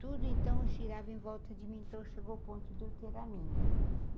Tudo, então, girava em volta de mim, então chegou o ponto de eu ter a minha.